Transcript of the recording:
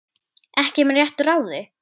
Ekki með réttu ráði?